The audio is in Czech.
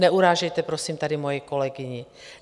Neurážejte prosím tady moji kolegyni.